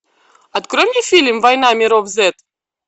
открой мне фильм война миров зет